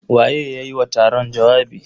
Waye ya yi wa taron jawabi?